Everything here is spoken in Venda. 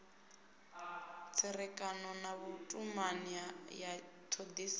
tserekano na vhutumani ya thodisiso